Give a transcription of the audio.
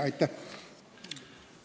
Aitäh!